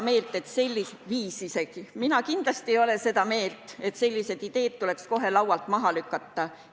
Mina ei ole kindlasti seda meelt, et sellised ideed tuleks kohe laualt maha lükata.